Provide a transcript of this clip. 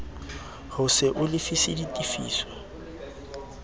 ho se o lefise ditefiso